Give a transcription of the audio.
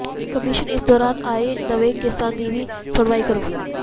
commission ਇਸ ਦੋਰਾਨ ਆਏ ਨਵੇਂ ਕੇਸਾਂ ਦੀ ਵੀ ਸੁਣਵਾਈ ਕਰੇ